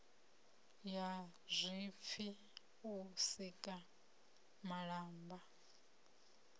ya zwipfi u sika malamba